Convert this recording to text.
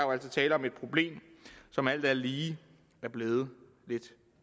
er tale om et problem som alt andet lige er blevet lidt